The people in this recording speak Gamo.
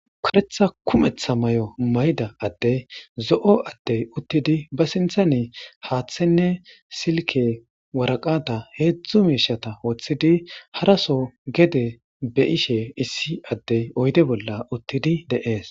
karetha kumetha mayo mayida addey zo7o addey uttidi ba sinthanni haaththenne silke waraqata heedzdzu miishata woththidi haraso gede be7ishe issi addey oyde bolla uttidi de7ees